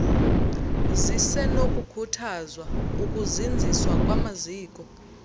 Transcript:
zisenokukhuthazwa ukuzinziswa kwamaziko